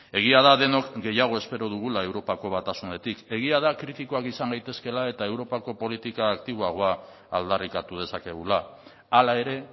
egia da denok gehiago espero dugula europako batasunetik egia da kritikoak izan gaitezkeela eta europako politika aktiboagoa aldarrikatu dezakegula hala ere